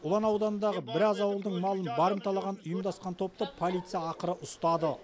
ұлан ауданындағы біраз ауылдың малын барымталаған ұйымдасқан топты полиция ақыры ұстады